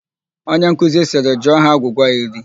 Onye nkuzi sịrị "jụọ ha agwụgwa iri"!